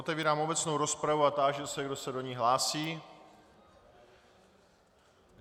Otevírám obecnou rozpravu a táži se, kdo se do ní hlásí.